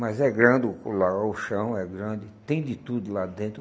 Mas é grande o, o chão é grande, tem de tudo lá dentro.